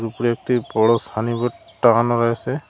একটি বড় সানিবোর্ড টাঙানো রয়েসে।